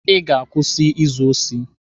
Ị ga-akwụsị izu osi!